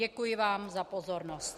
Děkuji vám za pozornost.